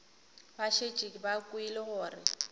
ba šetše ba kwele gore